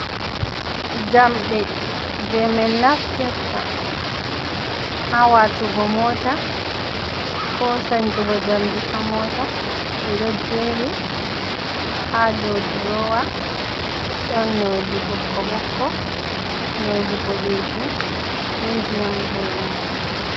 Jamde je min naftirta ha watugo mota ko sanjugo jamdi ha mota, ɓeɗo jeri ha dou drowa ɗon nonde ɓokko ɓokko, nonde boɗejum, be ndiyam lemu.